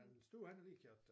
Den store han er lige købt øh